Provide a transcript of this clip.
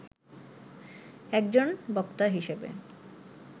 একজন বক্তা হিসেবে